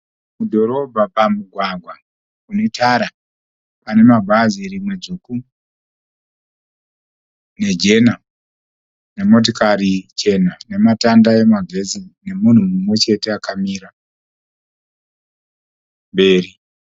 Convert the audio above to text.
Mudhorobha pamugwagwa unetara. Pane mabhazi rimwe dzvuku nejena nemotikari chena nematanda emagetsi nemunhu mumwe chete akamira mberi.